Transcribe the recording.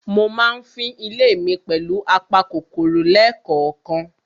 Mo ma ń fín ilé mi pẹ̀lù apa kòkòrò lẹ́kànkan.